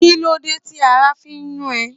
Kí ló dé tí ara fi ń yún ẹ?